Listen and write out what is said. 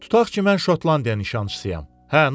Tutax ki, mən Şotlandiya nişançısıyam.